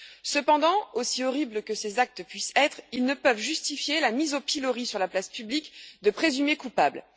Cependant, aussi horribles que ces actes puissent être, ils ne peuvent justifier la mise au pilori sur la place publique de présumés coupables.